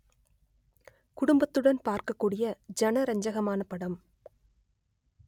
குடும்பத்துடன் பார்க்கக் கூடிய ஜனரஞ்சகமான படம்